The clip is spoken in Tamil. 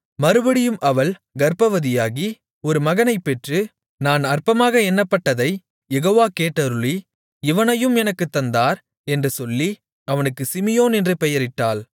மறுபடியும் அவள் கர்ப்பவதியாகி ஒரு மகனைப் பெற்று நான் அற்பமாக எண்ணப்பட்டதைக் யெகோவா கேட்டருளி இவனையும் எனக்குத் தந்தார் என்று சொல்லி அவனுக்கு சிமியோன் என்று பெயரிட்டாள்